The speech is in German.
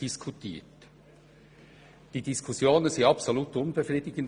Diese Diskussionen sind höchst unbefriedigend.